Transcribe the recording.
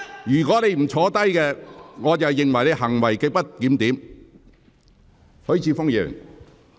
如果你不坐下，我會視之為行為極不檢點。